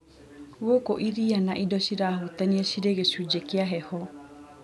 gũkũ iria na indo cirahutania cirĩ gĩcunjĩ kĩa heho.